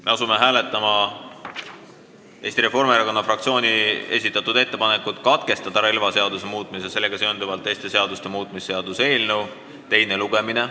Me asume hääletama Eesti Reformierakonna fraktsiooni ettepanekut katkestada relvaseaduse muutmise ja sellega seonduvalt teiste seaduste muutmise seaduse eelnõu teine lugemine.